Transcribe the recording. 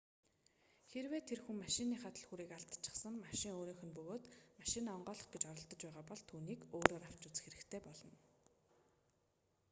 хэрэв тэр хүн машиныхаа түлхүүрийг алдчихсан машин өөрийнх нь бөгөөд машинаа онгойлгох гэж оролдож байгаа бол түүнийг өөрөөр авч үзэх хэрэгтэй болно